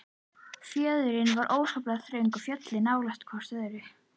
Fjörðurinn var óskaplega þröngur og fjöllin nálægt hvert öðru.